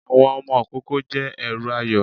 Àwọn ọmọ ìkoko jẹ èrù ayó